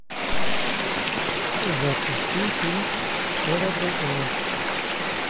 запусти фильм эра драконов